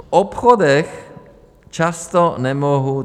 V obchodech často nemohou...